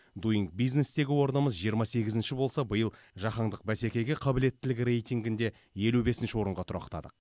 дуинг бизнес тегі орнымыз жиырма сегізінші болса биыл жаһандық бәсекеге қабілеттілік рейтингінде елу бесінші орынға тұрақтадық